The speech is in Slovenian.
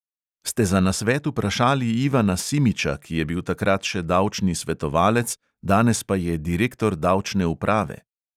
Ste za nasvet vprašali ivana simiča, ki je bil takrat še davčni svetovalec, danes pa je direktor davčne uprave?